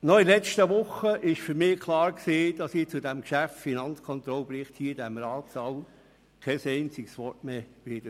Während der letzten Woche war für mich klar, dass ich zum Geschäft «Finanzkontrollbericht» hier im Ratssaal kein einziges Wort mehr sagen werde.